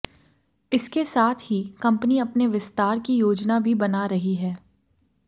इसके साथ ही कंपनी अपने विस्तार की याोजना भी बना रही है